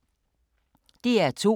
DR2